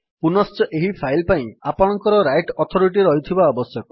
ପୁନଶ୍ଚ ଏହି ଫାଇଲ୍ ପାଇଁ ଆପଣଙ୍କର ରାଇଟ୍ ଅଥୋରିଟି ରହିଥିବା ଆବଶ୍ୟକ